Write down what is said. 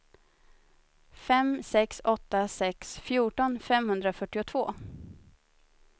fem sex åtta sex fjorton femhundrafyrtiotvå